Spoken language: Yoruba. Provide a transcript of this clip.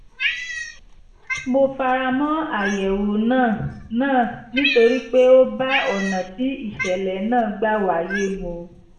mo fara mọ́ àyẹ̀wò náà náà nítorí pé ó bá ọ̀nà tí ìṣẹ̀lẹ̀ náà gbà wáyé mu